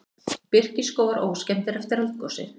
Birkiskógar óskemmdir eftir eldgosið